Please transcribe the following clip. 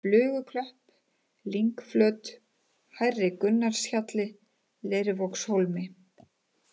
Fluguklöpp, Lyngflöt, Hærri Gunnarshjalli, Leirvogshólmi